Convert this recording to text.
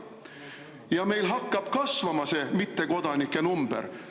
Ja meil hakkabki see mittekodanike number kasvama.